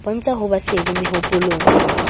bontsha ho ba sedi mehopolong